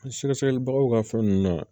Sɛgɛsɛgɛli bagaw ka fɛn nunnu na